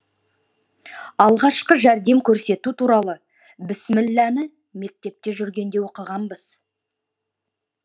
алғашқы жәрдем көрсету туралы біссіміләні мектепте жүргенде оқығанбыз